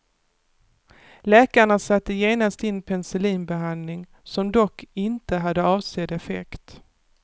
Läkarna satte genast in penicillinbehandling, som dock inte hade avsedd effekt.